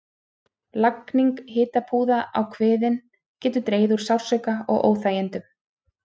Lagning hitapúða á kviðinn getur dregið úr sársauka og óþægindum.